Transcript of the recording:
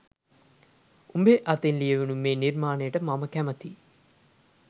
උ‍ඹේ අතින් ලියවුණු ‍මේ නිර්මා‍ණයට මමකැමතියි